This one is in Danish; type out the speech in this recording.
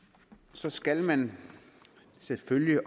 så skal man selvfølgelig